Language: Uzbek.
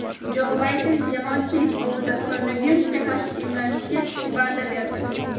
Jo Bayden jamoatchilik oldida koronavirusga qarshi emlanishga va’da berdi.